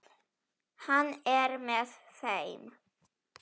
Hann er með þeim.